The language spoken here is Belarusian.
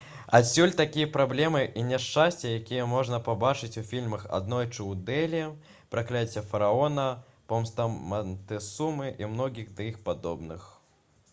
адсюль такія праблемы і няшчасці якія можна пабачыць у фільмах «аднойчы ў дэлі» «пракляцце фараона» «помста мантэсумы» і многіх да іх падобных